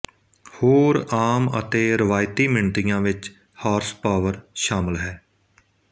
ਹੋਰ ਆਮ ਅਤੇ ਰਵਾਇਤੀ ਮਿਣਤੀਆਂ ਵਿੱਚ ਹਾਰਸਪਾਵਰ ਸ਼ਾਮਿਲ ਹੈ